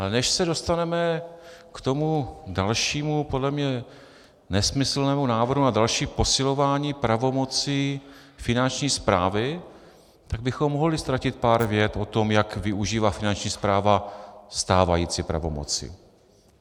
Ale než se dostaneme k tomu dalšímu, podle mě nesmyslnému návrhu na dalším posilování pravomocí Finanční správy, tak bychom mohli ztratit pár vět o tom, jak využívá Finanční správa stávající pravomoci.